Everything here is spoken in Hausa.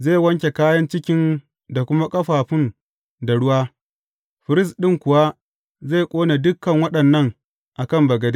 Zai wanke kayan cikin da kuma ƙafafun da ruwa, firist ɗin kuwa zai ƙone dukan waɗannan a kan bagade.